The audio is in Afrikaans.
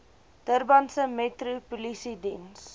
durbanse metro polisiediens